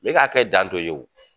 Ne ka hakɛ dan t'o ye